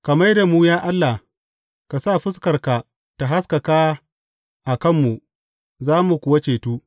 Ka mai da mu, ya Allah; ka sa fuskarka ta haskaka a kanmu, za mu kuwa cetu.